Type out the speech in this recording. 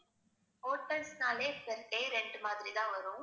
hotels னாலே per day rent மாதிரி தான் வரும்